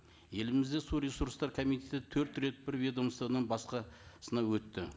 елімізде су ресурстары комитеті төрт рет бір ведомстводан басқасына өтті